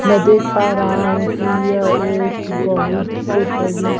मैं देख पा रहा हूं कि यह एक बहुत से बड़ी--